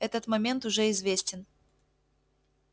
этот момент уже известен